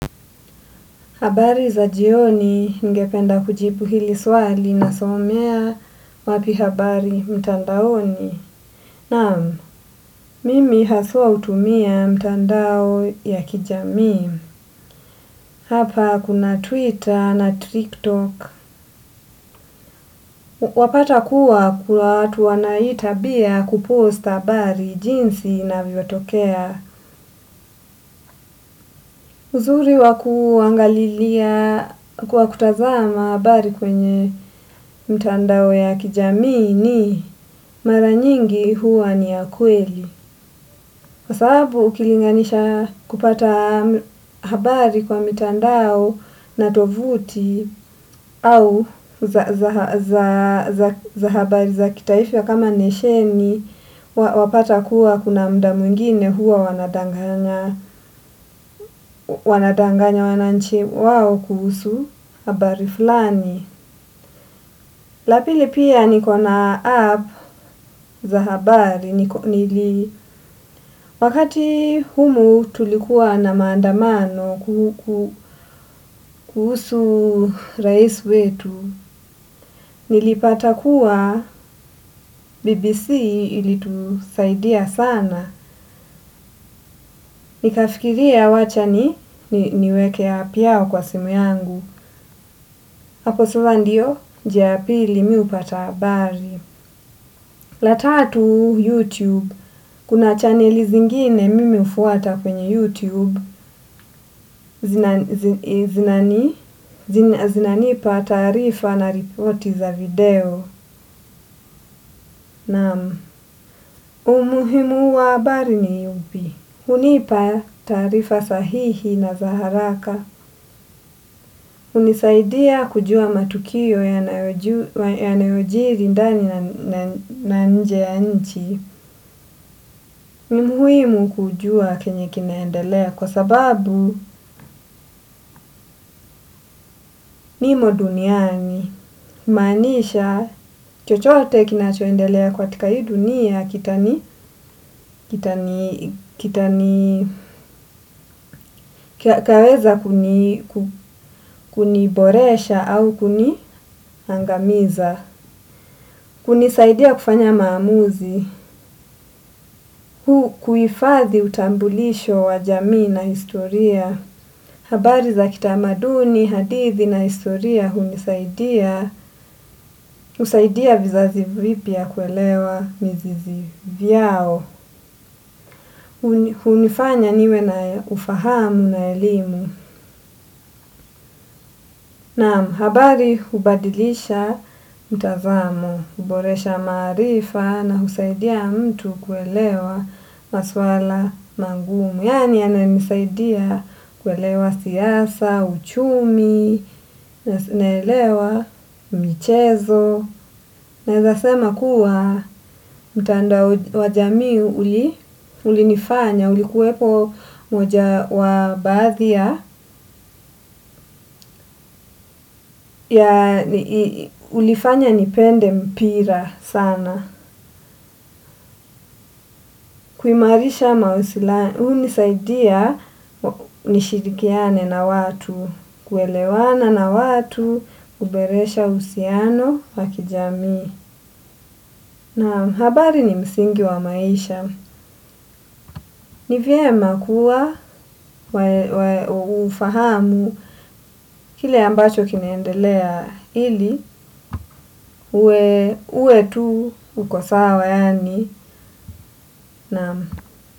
Habari za jioni ngependa kujipu hili swali na somea wapi habari mtandaoni. Nam, mimi hasua utumia mtandao ya kijami. Hapa kuna Twitter na TikTok. Wapata kuwa kwa tuwanaita bia kuposta habari jinsi na viotokea. Uzuri wa kuangalilia kuwa kutazama habari kwenye mtandao ya kijami ni maranyingi huwa ni ya kweli. Kwa sababu ukilinganisha kupata habari kwa mitandao na tovuti au za habari za kitaifa ya kama nesheni wapata kuwa kuna mda mwingine huwa wanadanganya wananchi wao kuhusu habari fulani. Lapili pia nikona app za habari, wakati humu tulikuwa na mandamano kuhusu rais wetu, nilipata kuwa BBC ili tusaidia sana, nikafikiria wacha niwekea piawa kwa simu yangu. Hapo sasa ndiyo njia ya pili mimi hupata habari. La tatu YouTube, kuna channeli zingine mimi ufuata kwenye YouTube, zinanipa taarifa na ripoti za video nam umuhimu wa habari ni ipi hunipa tarifa sahihi na zaharaka. Unisaidia kujua matukio yaneojiri ndani na nje ya nchi. Nimuhuimu kujua kenye kinaendelea kwa sababu ni mo duniani. Kumaanisha chochote kinachoendelea katika hii dunia kitani kaweza kuniboresha au kuniangamiza. Kunisaidia kufanya maamuzi, kuifadhi utambulisho wa jamii na historia. Habari za kitamaduni, hadithi na historia hunisaidia vizazi vipia kuelewa mizizi vyao. Hunifanya niwe na ufahamu na elimu. Na mhabari hubadilisha mtazamo. Huboresha marifa na husaidia mtu kuelewa maswala mangumu. Yani anenisaidia kuelewa siyasa, uchumi, naelewa michezo. Na eza sema kuwa mtandoa wajami uli nifanya, uli kuwepo mojawa bathia ya ulifanya nipende mpira sana. Kuimarisha mausilani, huu nisaidia nishirikiane na watu, kuelewana na watu, uberesha usiano wakijami. Na habari ni msingi wa maisha. Ni vyema kuwa ufahamu kile ambacho kinachoendelea ili uwe tu uko sawa yani.